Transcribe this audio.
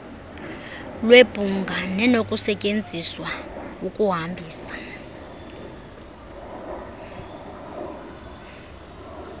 lwebhunga nenokusetyenziselwa ukuhambisa